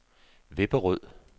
Vipperød